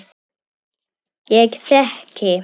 Ég þegi.